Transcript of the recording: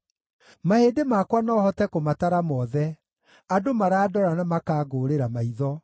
Mahĩndĩ makwa no hote kũmatara mothe; andũ marandora na makangũũrĩra maitho.